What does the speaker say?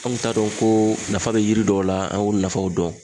An kun t'a dɔn ko nafa be yiri dɔw la an y'o nafaw dɔn